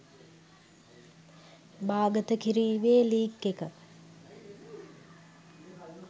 බාගත කිරීමේ ලින්ක් එක